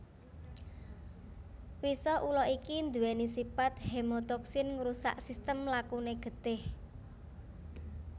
Wisa ula iki nduwèni sipat hemotoksin ngrusak sistem lakune getih